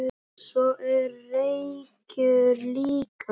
Svo er reykur líka.